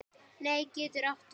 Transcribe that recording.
Net getur átt við